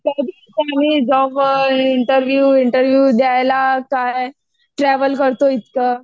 Job job interview interview द्यायला काय travel करतो इतकं.